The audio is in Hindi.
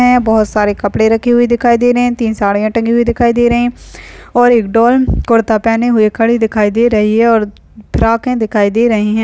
आ बहुत सारे कपड़े रखी हुई दिखाई दे रहे हैं तीन साड़ि -यां टंगी हुई दिखाई दे रहे हैं और एक डॉल कुर्ता पहने हुए खड़ी दिखाई दे रही है और फ़्रॉके हे दिखाई दे रही हैं।